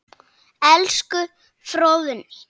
Elsku Fróðný.